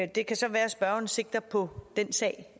det kan så være at spørgeren sigter på den sag